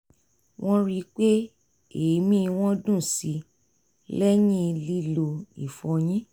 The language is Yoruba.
wọ́n rí i pé èémí wọn dùn síi lẹ́yìn lílo ìfọyín